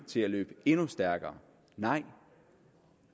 til at løbe endnu stærkere nej